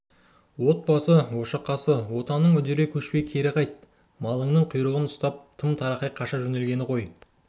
от басы ошақ қасы отаныңнан үдере көшпей кері қайт малыңның құйрығынан ұстап тым-тырақай қаша жөнелгенді қой